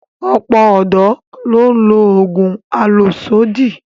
Ọ̀pọ̀ ọ̀dọ́ ló ń lo oògùn àlòsódì